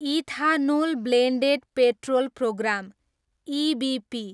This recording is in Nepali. ethanol blended petrol programme, EBP